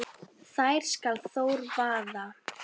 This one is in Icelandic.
þær skal Þór vaða